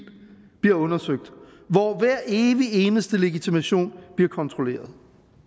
bliver undersøgt hvor hver evig eneste legitimation bliver kontrolleret